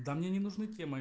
да мне не нужны темы